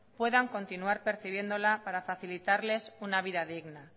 puedan continuar percibiéndola para facilitarles una vida digna